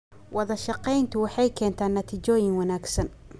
Wada shaqayntu waxay keentaa natiijooyin wanaagsan.